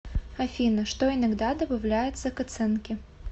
афина что иногда добавляется к оценке